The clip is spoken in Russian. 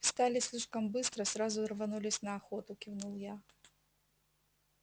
встали слишком быстро сразу рванулись на охоту кивнул я